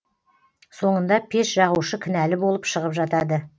соңында пеш жағушы кінәлі болып шығып жатады